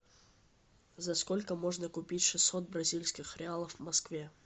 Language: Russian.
за сколько можно купить шестьсот бразильских реалов в москве